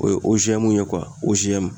O ye ye